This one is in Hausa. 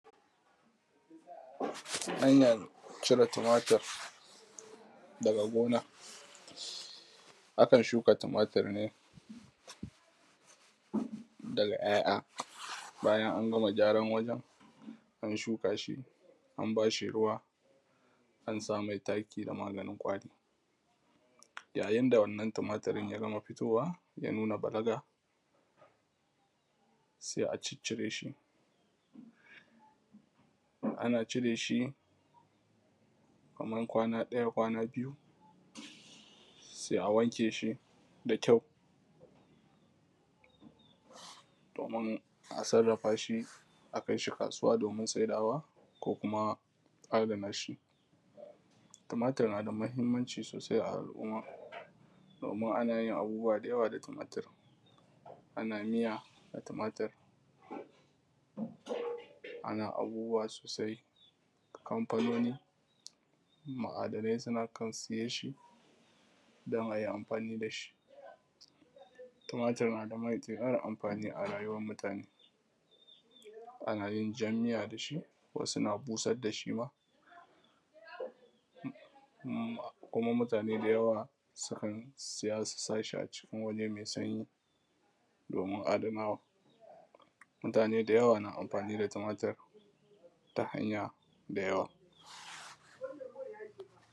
hanyan cire tumatur daga gona akan shuka tumatur ne daga ya'ya bayan an gama gyaran wajen an shuka shi an ba shi ruwa an sa mai taki da maganin ƙwari yayin da wannan tumatiri ya gama futowa ya nuna balaga sai a ciccire shi ana cire shi kaman kwana ɗaya kwana biyu sai a wanke shi da kyau domin a sarrafa shi a kai shi kasuwa domin saidawa ko kuma adana shi tumatur na da mahimmanci sosai a al’umma amman ana yin abubuwa da yawa da tumatur ana miya da tumatur ana abubuwa sosai kamfanoni ma’adanai suma kan siyan shi don a yi amfani da shi tumatur na da matuƙar amfani a rayuwan mutane ana yin jan miya da shi wasu na busar da shi ma kuma mutane da yawa sukan siya su sa shi a cikin wurin mai sanyi domin adanawa mutane da yawa na amfani da tumatur ta hanya da yawa